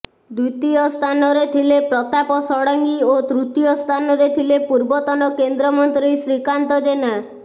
ଦ୍ୱିତୀୟ ସ୍ଥାନରେ ଥିଲେ ପ୍ରତାପ ଷଡଙ୍ଗୀ ଓ ତୃତୀୟ ସ୍ଥାନରେ ଥିଲେ ପୂର୍ବତନ କେନ୍ଦ୍ରମନ୍ତ୍ରୀ ଶ୍ରୀକାନ୍ତ ଜେନା